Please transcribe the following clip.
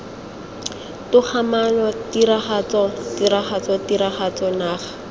togamaano tiragatso tiragatso tiragatsoya naga